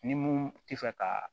Ni mun tɛ fɛ ka